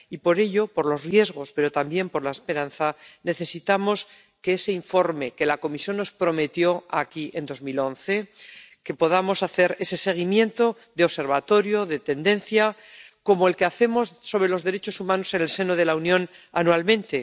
y por ello —por los riesgos, pero también por la esperanza— necesitamos ese informe que la Comisión nos prometió aquí en 2011, que podamos hacer ese seguimiento de observatorio, de tendencias, como el que hacemos sobre los derechos humanos en el seno de la Unión anualmente